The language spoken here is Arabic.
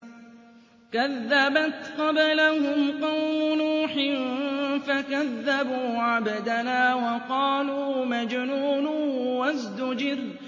۞ كَذَّبَتْ قَبْلَهُمْ قَوْمُ نُوحٍ فَكَذَّبُوا عَبْدَنَا وَقَالُوا مَجْنُونٌ وَازْدُجِرَ